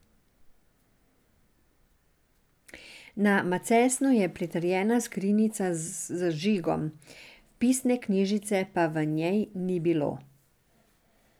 Na macesnu je pritrjena skrinjica z žigom, vpisne knjižice pa v njej ni bilo.